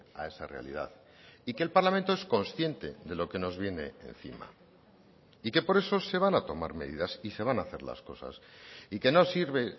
a esa realidad y que el parlamento es consciente de lo que nos viene encima y que por eso se van a tomar medidas y se van a hacer las cosas y que no sirve